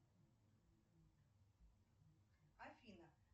афина